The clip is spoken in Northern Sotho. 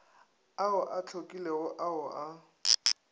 ao a hlakilego ao a